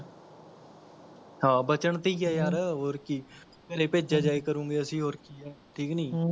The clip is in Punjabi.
ਹਾਂ ਬਚਣ ਤੇ ਹੀ ਹੈ ਯਾਰ ਹੋਰ ਕੀ, ਘਰੇ ਭੇਜਿਆ ਜਾਇਆ ਕਰੂਗਏ ਅਸੀਂ ਹੋਰ ਕੀ ਹੈ ਠੀਕ ਨੀ ਹਮਮ